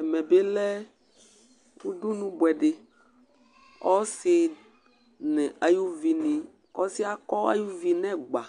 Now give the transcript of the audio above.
Ɛmɛ bi lɛ ʋdʋnu bʋɛdi Ɔsi nʋ ay'ʋvi ni Ɔsi yɛ akɔ ay'ʋvi nʋ ɛgba